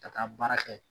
Ka taa baara kɛ